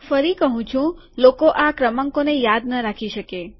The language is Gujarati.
ફરી કહું છું લોકો આ ક્રમાંકોને યાદ નહીં રાખી શકે